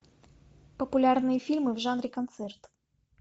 популярные фильмы в жанре концерт